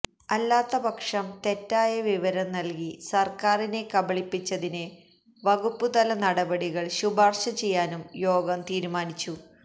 അല്ലാത്തപക്ഷം തെറ്റായവിവരം നല്കി സര്ക്കാരിനെ കബളിപ്പിച്ചതിന് വകുപ്പുതലനടപടികള് ശുപാര്ശചെയ്യാനും യോഗം തീരുമാനിച്ചു